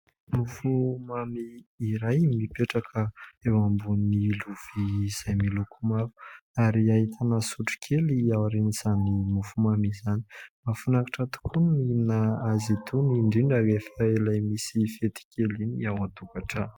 Mofomamy iray mipetraka eo ambony lovia izay miloko mavo ary ahitana sotro kely aorian'izany mofomamy izany mahafinaritra tokoa ny mihinana azy itony indrindra rehefa ilay misy fety kely iny ao an-tokantrano.